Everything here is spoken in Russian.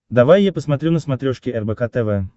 давай я посмотрю на смотрешке рбк тв